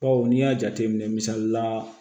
Bawo n'i y'a jateminɛ misali la